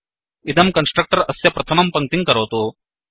इदं कन्स्ट्रक्टर् अस्य प्रथमं पङ्क्तिं करोतु